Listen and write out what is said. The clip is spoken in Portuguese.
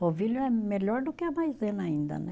Polvilho é melhor do que a maisena ainda, né?